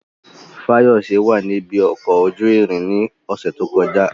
Fayose wà ní ibi ọkọ̀ ojú irin ní ọ̀sẹ̀ tó kọjá.